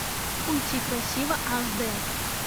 уйти красиво аш дэ